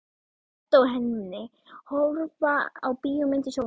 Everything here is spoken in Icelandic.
Edda og Hemmi horfa á bíómynd í sjónvarpinu.